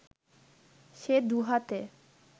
সে দুহাতে